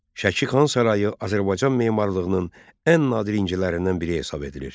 Şəki Xan Sarayı Azərbaycan memarlığının ən nadir incilərindən biri hesab edilir.